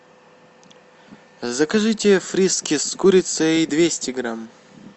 закажите фрискис с курицей двести грамм